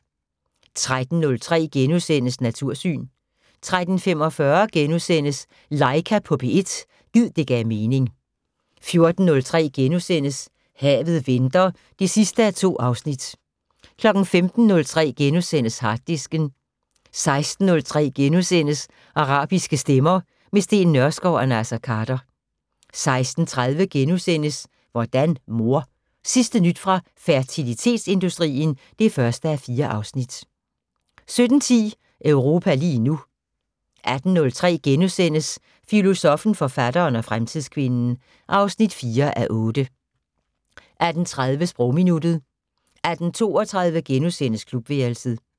13:03: Natursyn * 13:45: Laika på P1 - gid det gav mening * 14:03: Havet venter (2:2)* 15:03: Harddisken * 16:03: Arabiske stemmer - med Steen Nørskov og Naser Khader * 16:30: Hvordan mor? Sidste nyt fra fertilitetsindustrien (1:4)* 17:10: Europa lige nu 18:03: Filosoffen, forfatteren og fremtidskvinden (4:8)* 18:30: Sprogminuttet 18:32: Klubværelset *